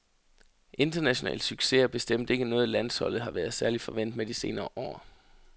International succes er bestemt ikke noget landsholdet har været særlig forvent med de senere år.